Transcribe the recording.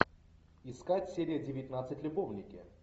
искать серия девятнадцать любовники